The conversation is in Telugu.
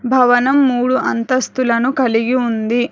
భవనం మూడు అంతస్తులను కలిగి ఉంది.